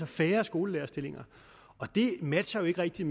færre skolelærerstillinger og det matcher jo ikke rigtig